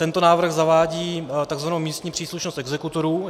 Tento návrh zavádí tzv. místní příslušnost exekutorů.